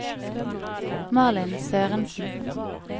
Malin Sørensen